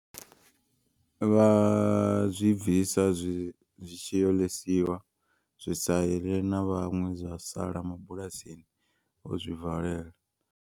Vha zwi bvisa zwi tshi yo ḽisiwa zwi sa ḽe na vhaṅwe zwa sala mabulasini vho zwi valela.